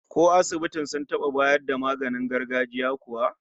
Ko asibiti sun taba bayar da maganin gargajiya kuwa?